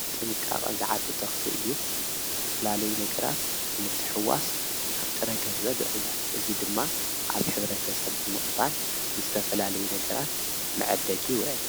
ብጥንቃቐ ዝዓቢ ተኽል እዩ፡፡ ዝተፈላለዩ ነገራት ብምትሕውዋስ ናብ ጥረ ገንዘብ ይቕየር፡፡ እዚ ድማ ኣብ ሐብረ ተሰብ ብምቕባል ንዝተፈላለዩ ነገራት መዕደጊ ይውዕል፡፡